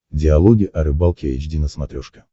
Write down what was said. диалоги о рыбалке эйч ди на смотрешке